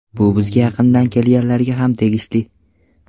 Bu bizga yaqinda kelganlarga ham tegishli.